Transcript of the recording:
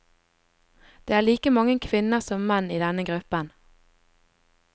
Det er like mange kvinner som menn i denne gruppen.